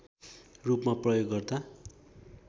रूपमा प्रयोग गर्दा